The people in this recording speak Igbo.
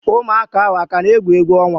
Ụmụaka ahu akana egwu egwu onwa?